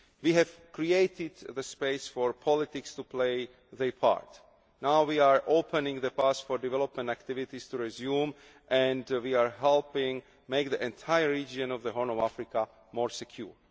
We have created the space for politics to play their part. Now we are opening the path for development activities to resume and we are helping make the entire region of the Horn of Africa more secure.